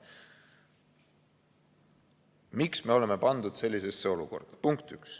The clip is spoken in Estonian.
Miks me oleme pandud sellisesse olukorda?